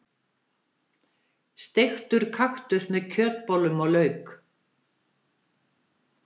Steiktur kaktus með kjötbollum og lauk.